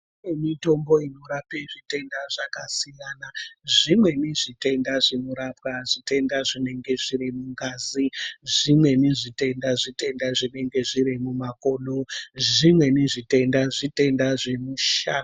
Kune mitombo inorape zvitenda zvakasiyana. Zvimweni zvitenda zvinorapwa zvitenda zvinenge zviri mungazi. Zvimweni zvitenda zvitenda zvinenge zviri mumakodo, zvimweni zvitenda zvitenda zvemushana.